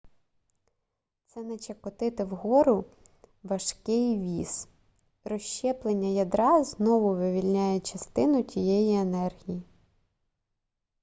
це наче котити вгору важкий віз розщеплення ядра знову вивільняє частину тієї енергії